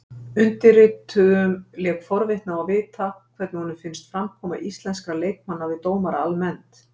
Undirrituðum lék forvitni á að vita hvernig honum finnst framkoma íslenskra leikmanna við dómara almennt?